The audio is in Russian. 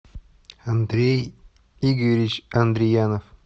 андрей игоревич андриянов